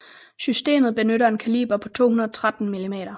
Systemet benytter en kaliber på 213 mm